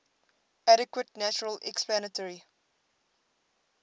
adequate natural explanatory